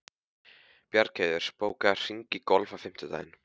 Bjargheiður, bókaðu hring í golf á fimmtudaginn.